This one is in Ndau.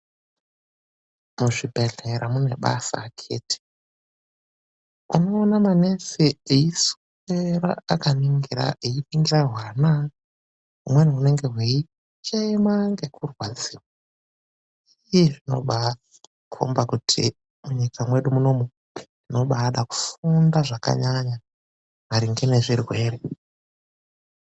Muzvibhedhlera mune basa akhiti. Unoona manesi eiswera akaningira eipindure hwana, humweni hunenge hweichema ngekurwadziwa. Iiii zvinombaakhomba kuti munyika mwedu munomu munobaada kufunda zvakanyanya maringe nezvirwere.